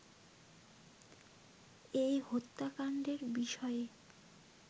এই হত্যাকাণ্ডের বিষয়ে